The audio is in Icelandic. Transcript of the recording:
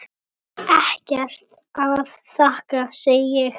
Ekkert að þakka, segi ég.